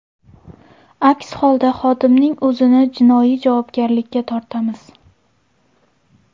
Aks holda xodimning o‘zini jinoiy javobgarlikka tortamiz.